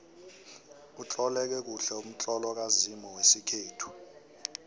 utloleke kuhle umtlolo kazimu wesikhethu